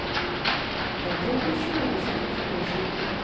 Det er dobbelt så mange som for to år siden.